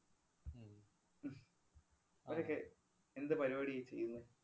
അവരൊക്കെ എന്ത് പരിപാടിയാ ഈ ചെയ്യുന്നേ?